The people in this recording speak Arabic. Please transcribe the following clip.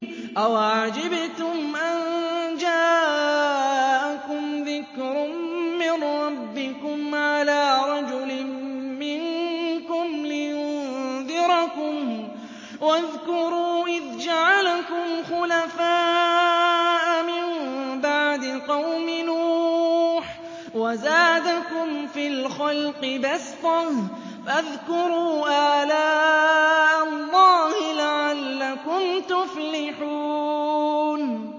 أَوَعَجِبْتُمْ أَن جَاءَكُمْ ذِكْرٌ مِّن رَّبِّكُمْ عَلَىٰ رَجُلٍ مِّنكُمْ لِيُنذِرَكُمْ ۚ وَاذْكُرُوا إِذْ جَعَلَكُمْ خُلَفَاءَ مِن بَعْدِ قَوْمِ نُوحٍ وَزَادَكُمْ فِي الْخَلْقِ بَسْطَةً ۖ فَاذْكُرُوا آلَاءَ اللَّهِ لَعَلَّكُمْ تُفْلِحُونَ